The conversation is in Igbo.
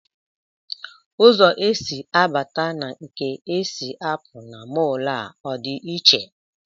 Ụzọ e si abata na nke e si apụ na mọl a ọ dị iche?